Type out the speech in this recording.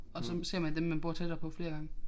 Og så ser man dem man bor tættere på flere gange